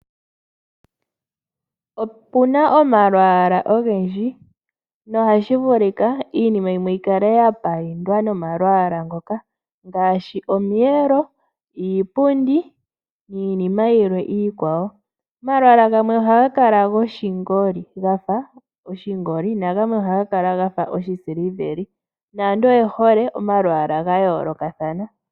Opuna omalwalwa ogendji nohashi vulika iinima yikale yapayindwa nomalwalwa ngoka ngaashi iipundi, omiyelo niinima yilwe iikwawo. Omalwalwa gamwe ohaga kala goshingoli gafa oshingoli nagamwe ohaga kala gafa oshisiliveli. Aantu oye hole omalwalwa gayoolokathana.